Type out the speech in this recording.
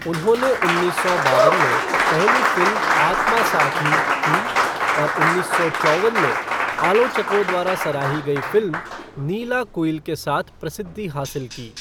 उन्होंने उन्नीस सौ बावन में पहली फ़िल्म आत्मासाखी की और उन्नीस सौ चौवन में आलोचकों द्वारा सराही गई फ़िल्म नीलाकुयिल के साथ प्रसिद्धि हासिल की।